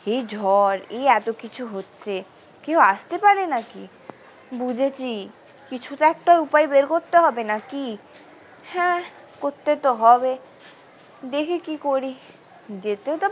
এই ঝড় এই এত কিছু হচ্ছে কেউ আসতে পারে নাকি বুঝেছি কিছু তো একটা উপায় বের করতে হবে নাকি হ্যাঁ করতে তো হবে দেখি কি করি যেতে তো।